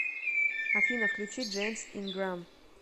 афина включи джеймс инграм